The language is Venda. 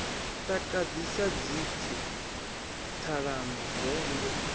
takadzi sa dzimpfu ṱhalano vengo